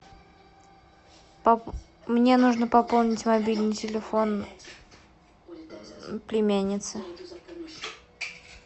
мне нужно пополнить мобильный телефон племянницы